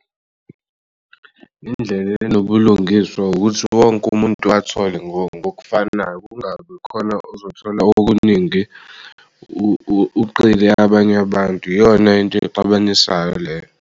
Indlela enobulungiswa ukuthi wonke umuntu athole ngokufanayo kungabi khona ozothola okuningi abanye abantu iyona into exabanisayo leyo.